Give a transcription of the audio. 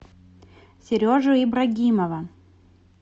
сережу ибрагимова